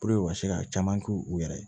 u ka se ka caman k'u yɛrɛ ye